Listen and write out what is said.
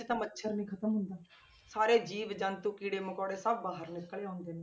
ਇੱਕ ਆਹ ਮੱਛਰ ਨੀ ਖ਼ਤਮ ਹੁੰਦਾ, ਸਾਰੇ ਜੀਵ ਜੰਤੂ ਕੀੜੇ ਮਕੌੜੇ ਸਭ ਬਾਹਰ ਨਿਕਲ ਆਉਂਦੇ ਨੇ।